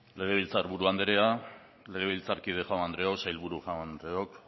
legebiltzar buru anderea legebiltzarkide jaun andreok sailburu jaun andreok